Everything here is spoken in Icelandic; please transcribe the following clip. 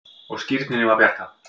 Og skírninni var bjargað.